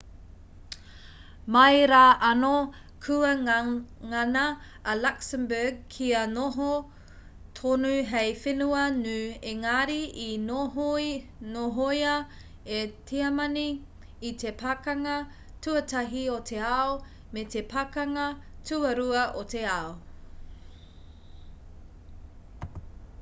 mai rā anō kua ngana a luxembourg kia noho tonu hei whenua ngū engari i nohoia e tiamani i te pakanga tuatahi o te ao me te pakanga tuarua o te ao